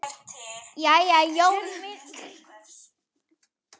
Jæja Jón minn, hvernig ertu í fætinum?